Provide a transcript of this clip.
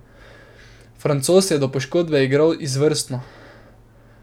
Francoz je do poškodbe igral izvrstno.